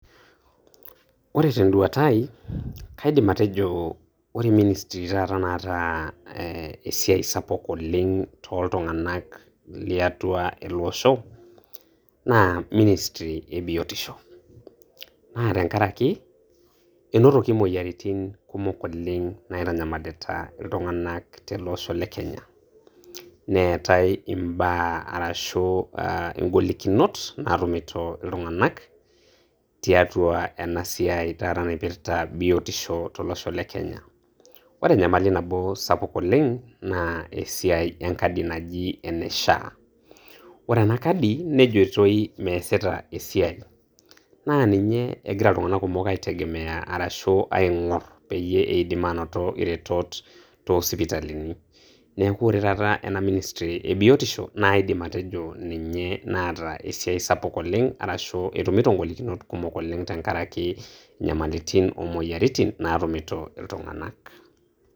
Ore tenduata ai, kaidim atejo, ore ministri taata naata eeh esiai sapuk oleng' tooltung'anak liatua eleosho, naa ministri ebiotisho. Naa tenkarake enotoki moyiaritin kumok oleng' naitanyamalita iltung'anak teleosho le Kenya, neetai mbaa arashu aah ingolikinot naatumito iltung'anak tiatua ena siai taata naipirta biotisho tolosho le Kenya. Ore enyamali nabo sapuk oleng' naa esiai enkadi naji ene SHA. Ore ena kadi nejitoi meesita esiai, naa ninye egira iltung'anak kumok aitegemea arashu aing'orr peyie eidim aanoto iretot toosipitalini, neeku ore taata ena ministri ebiotisho naidim atejo ninye naata esiai sapuk oleng' arashu etumito ngolikinot kumok oleng' tenkarake nyamalitin omoyiaritin naatumito iltung'anak.